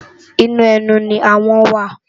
Inú ènú ni áhòn wá